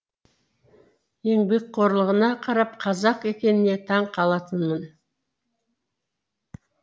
еңбекқорлығына қарап қазақ екеніне таң қалатынмын